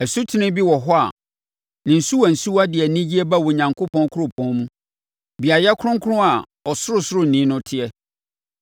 Asutene bi wɔ hɔ a ne nsuwansuwa de anigyeɛ ba Onyankopɔn kuropɔn mu, beaeɛ kronkron a Ɔsorosoroni no teɛ.